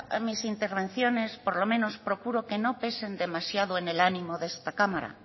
mis intervenciones por lo menos procuro que no pesen demasiado en el ánimo de esta cámara